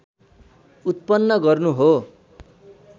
उत्पन्न गर्नु हो